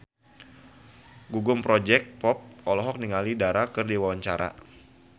Gugum Project Pop olohok ningali Dara keur diwawancara